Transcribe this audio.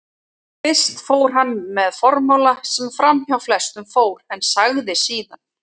Fyrst fór hann með formála sem framhjá flestum fór, en sagði síðan